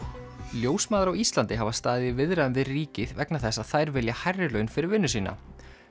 ljósmæður á Íslandi hafa staðið í viðræðum við ríkið vegna þess að þær vilja hærri laun fyrir vinnu sína